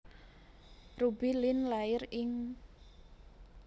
Ruby Lin lair ing